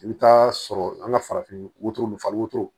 I bɛ taa sɔrɔ an ka farafin wotoro ninnu fali wotoro